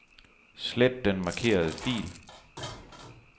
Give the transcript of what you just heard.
Slet den markerede fil.